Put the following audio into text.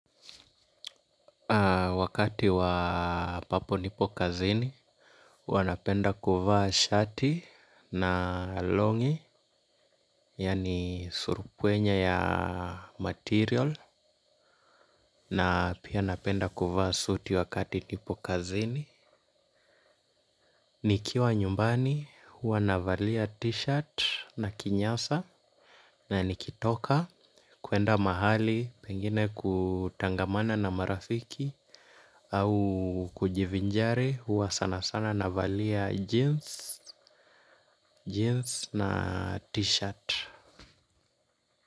Wakati wa ambapo nipo kazini, hua napenda kuvaa shati na long'i, yani surupwenye ya material, na pia napenda kuvaa suiti wakati nipo kazini. Nikiwa nyumbani hua navalia t-shirt na kinyasa na nikitoka kuenda mahali pengine kutangamana na marafiki au kujivinjari huwa sana sana navalia jeans jeans na t-shirt.